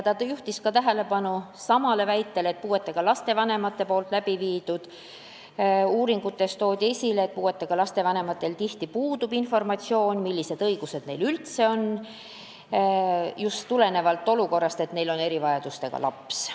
Ta juhtis tähelepanu samale väitele, et puuetega laste vanemate tehtud uuringutes toodi esile, et puuetega laste vanematel puudub tihti informatsioon, millised õigused need üldse on, just tulenevalt olukorrast, et neil on erivajadustega laps.